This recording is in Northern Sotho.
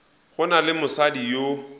go na le mosadi yo